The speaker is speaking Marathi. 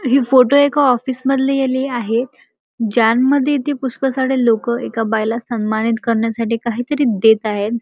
हि फोटो एका ऑफिस मधले आहे ज्यांन मधी इथ पुष्कळ सारे लोक एका बायला सन्मानित करण्यासाठी काहीतरी देत आहेत.